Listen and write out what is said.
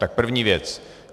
Tak první věc.